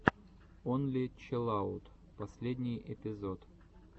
онли чилаут последний эпизод